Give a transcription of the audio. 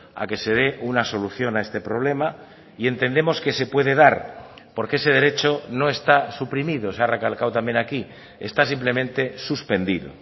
a que se dé una solución a este problema y entendemos que se puede dar porque ese derecho no está suprimido se ha recalcado también aquí está simplemente suspendido